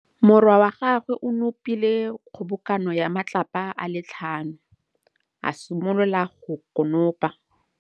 Morwa wa gagwe o nopile kgobokanô ya matlapa a le tlhano, a simolola go konopa.